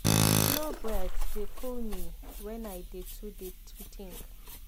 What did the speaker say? slow breath dey cool me when i dey too dey too think.